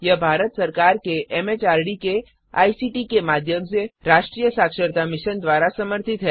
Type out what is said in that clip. यह भारत सरकार के एमएचआरडी के आईसीटी के माध्यम से राष्ट्रीय साक्षरता मिशन द्वारा समर्थित है